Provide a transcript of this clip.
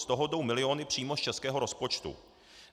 Z toho jdou miliony přímo z českého rozpočtu.